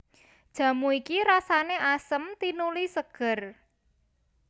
Jamu iki rasané asem tinuli ségér